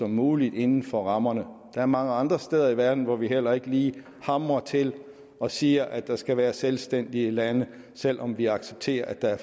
muligt inden for rammerne der er mange andre steder i verden hvor vi heller ikke lige hamrer til og siger at der skal være selvstændige lande selv om vi accepterer at der er